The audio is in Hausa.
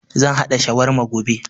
Zan haɗa shawarma gobe